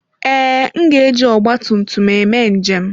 Ee, m ga-eji ọgba tum tum eme njem.